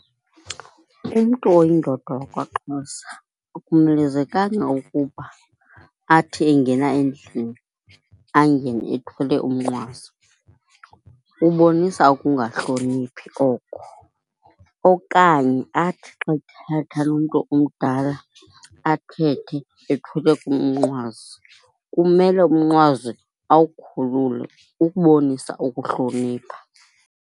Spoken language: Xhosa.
Umntu oyindoda wakwaXhosa akumelezekanga ukuba athi engena endlini angene ethwele umnqwazi, kubonisa ukungahloniphi oko. Okanye athi xa uthetha nomntu omdala athethe ethwele umnqwazi, kumele umnqwazi awukhulule ukubonisa ukuhlonipha.